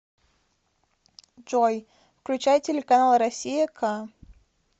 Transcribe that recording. джой включай телеканал россия к